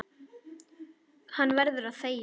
Hann verður að þegja.